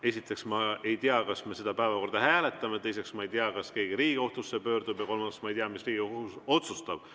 Esiteks, ma ei tea, kas me seda päevakorda hääletame, teiseks, ma ei tea, kas keegi Riigikohtusse pöördub, ja kolmandaks, ma ei tea, mis Riigikohus otsustab.